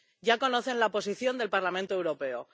Ya conocen la posición del Parlamento Europeo.